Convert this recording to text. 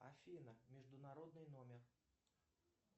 афина международный номер